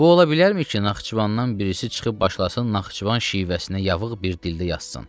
Bu olabilərmi ki, Naxçıvandan birisi çıxıb başlasın Naxçıvan şivəsinə yavıq bir dildə yazsın?